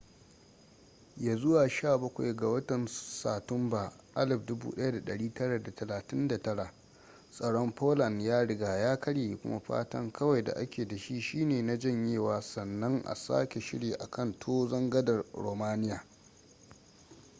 ya zuwa 17 ga satumba 1939 tsaron poland ya riga ya karye kuma fatan kawai da ake da shi shine na janyewa sannan a sake shiri a kan tozon gadar romania